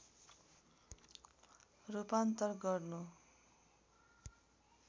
रूपान्तर गर्नु